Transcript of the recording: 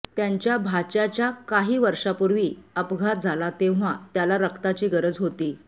त्यांच्या भाच्याचा काही वर्षांपूर्वी अपघात झाला तेव्हा त्याला रक्ताची गरज होती